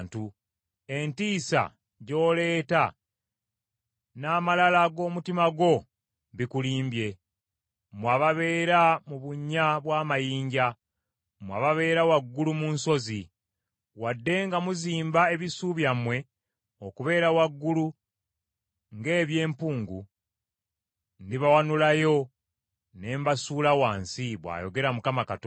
Entiisa gy’oleeta n’amalala g’omutima gwo bikulimbye, mmwe ababeera mu bunnya bw’amayinja, mmwe ababeera waggulu mu nsozi. Wadde nga muzimba ebisu byammwe okubeera waggulu nga eby’empungu, ndibawanulayo ne mbasuula wansi,” bw’ayogera Mukama Katonda.